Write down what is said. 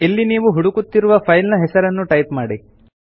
ಇಲ್ಲಿ ನೀವು ಹುಡುಕುತ್ತಿರುವ ಫೈಲ್ ನ ಹೆಸರನ್ನು ಟೈಪ್ ಮಾಡಿ